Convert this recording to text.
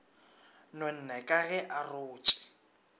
nonne ka ge a rotše